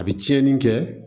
A bɛ tiɲɛni kɛ